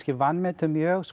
vanmetum mjög